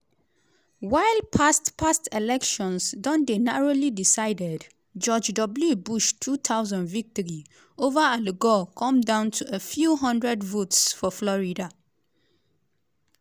while past past elections don dey narrowly decided - george w bush 2000 victory ova al gore come down to a few hundred votes for florida.